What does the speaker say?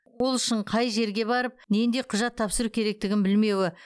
ол үшін қай жерге барып нендей құжат тапсыру керектігін білмеуі